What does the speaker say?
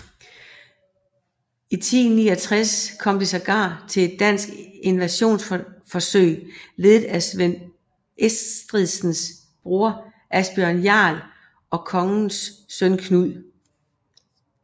I 1069 kom det sågar til et dansk invasionsforsøg ledet af Svend Estridsens broder Asbjørn Jarl og kongens søn Knud